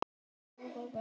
Kannski er þetta rotta?